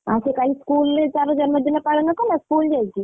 ଆଉ ସେ କାଲି school ରେ ତାର ଜନ୍ମଦିନ ପାଳନ କଲା school ଯାଇକି?